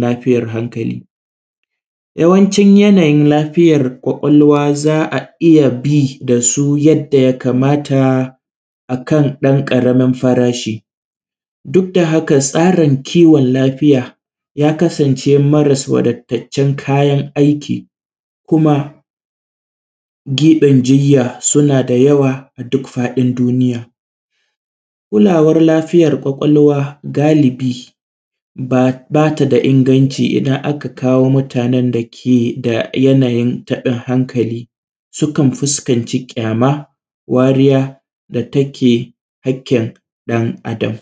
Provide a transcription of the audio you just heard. lafiyan kwakwalwa, yawancin yanayin lafiyar kwakwalwa za’a iyya za’a iyya bi dasu yadda ya kamata akan ɗan ƙaramin farashi. Duk da haka tsarin kiwon lafiya ya kasance maras wada taccen kayan aiki, kuma giɓin jinya suna da yawa a duk faɗin duniya, kulawar lafiyar kwakwalwa galibi bata da inganci idan aka kawo mutanen da keda yanayin taɓin hankali sukan fuskanci ƙyama wariya da take hakkin dan adam.